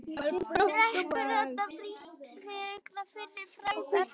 Drekkur þarna frítt vegna fyrri frægðar.